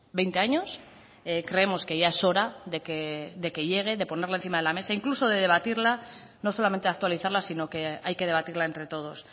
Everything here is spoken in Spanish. veinte años creemos que ya es hora de que llegue de ponerla encima de la mesa incluso de debatirla no solamente actualizarla sino que hay que debatirla entre todos